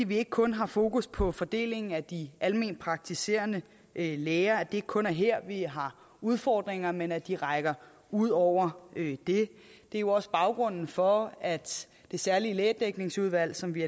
vi ikke kun har fokus på fordelingen af de alment praktiserende læger at det ikke kun er her vi har udfordringer men at de rækker ud over det det er jo også baggrunden for at det særlige lægedækningsudvalg som vi